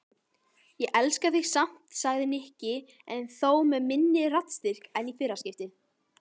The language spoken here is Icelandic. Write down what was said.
Ég elska þig samt sagði Nikki en þó með minni raddstyrk en í fyrra skiptið.